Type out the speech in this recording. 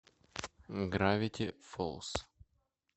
гравити фолз